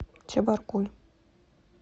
чебаркуль